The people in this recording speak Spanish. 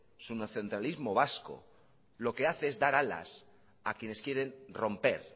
lo que hace es dar alas a quienes quieren romper